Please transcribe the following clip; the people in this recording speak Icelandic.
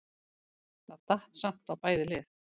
Það datt samt á bæði lið.